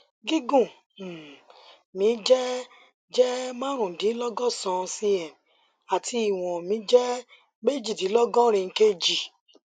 gígùn um mi jẹ jẹ marundinlogosan cm àti ìwọn mi jẹ mejidinlogorin kg